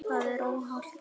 Það er óhollt.